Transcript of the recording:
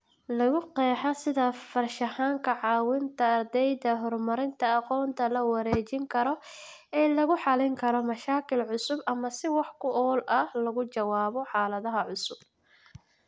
Lagu qeexaa sida farshaxanka caawinta ardyada horumarinta aqoonta la wareejin karo ee lagu xalin karo mashaakil cusub ama si wax ku ool ah looga jawaabo xaaladaha cusub.